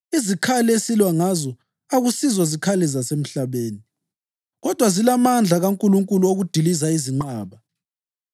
Izikhali esilwa ngazo akusizo zikhali zasemhlabeni. Kodwa zilamandla kaNkulunkulu okudiliza izinqaba.